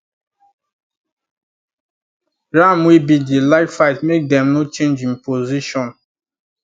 ram wey big dey like fight make them no change him position